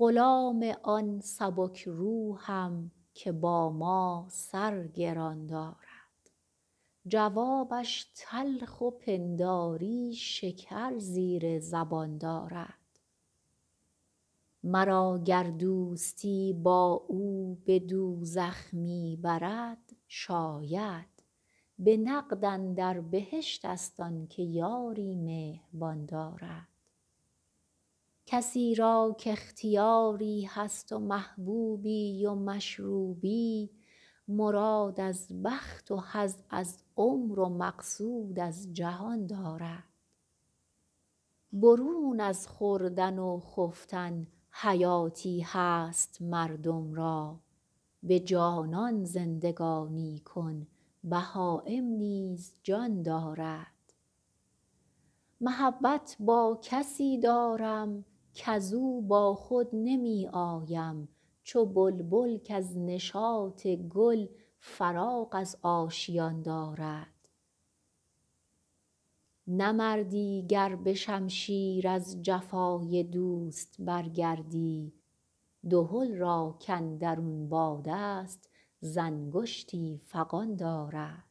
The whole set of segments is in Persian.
غلام آن سبک روحم که با من سر گران دارد جوابش تلخ و پنداری شکر زیر زبان دارد مرا گر دوستی با او به دوزخ می برد شاید به نقد اندر بهشت ست آن که یاری مهربان دارد کسی را کاختیاری هست و محبوبی و مشروبی مراد از بخت و حظ از عمر و مقصود از جهان دارد برون از خوردن و خفتن حیاتی هست مردم را به جانان زندگانی کن بهایم نیز جان دارد محبت با کسی دارم کز او با خود نمی آیم چو بلبل کز نشاط گل فراغ از آشیان دارد نه مردی گر به شمشیر از جفای دوست برگردی دهل را کاندرون باد است ز انگشتی فغان دارد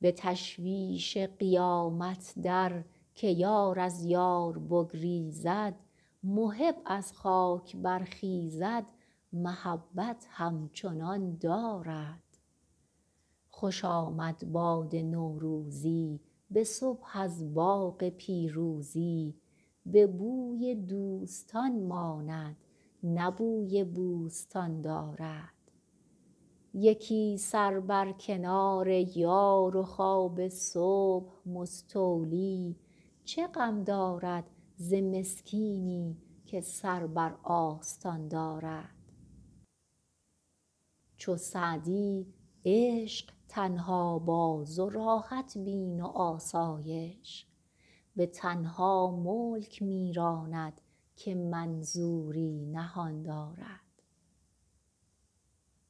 به تشویش قیامت در که یار از یار بگریزد محب از خاک برخیزد محبت همچنان دارد خوش آمد باد نوروزی به صبح از باغ پیروزی به بوی دوستان ماند نه بوی بوستان دارد یکی سر بر کنار یار و خواب صبح مستولی چه غم دارد ز مسکینی که سر بر آستان دارد چو سعدی عشق تنها باز و راحت بین و آسایش به تنها ملک می راند که منظوری نهان دارد